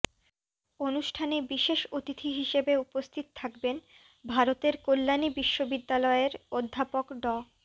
অনুষ্ঠানে বিশেষ অতিথি হিসেবে উপস্থিত থাকবেন ভারতের কল্যাণী বিশ্ববিদ্যালয়ের অধ্যাপক ড